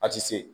A ti se